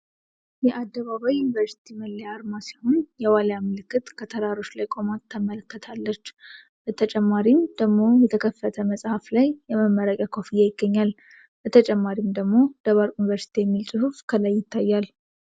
የአደባባይ ዩኒቨርሲቲ መለያ አርማ ሲሆን የዋልያ ምልክት ከተራሮች ላይ ቆማ ተመለክታለች በተጨማሪም ደግሞ የተከፈተ መጽሐፍ ላይ የመመረቂያ ኮፍያ ይገኛል። በተጨማሪም ደግሞ ደባርቅ ዩንቨርስቲ የሚል ጽሁፍ ከላይ ይታያል።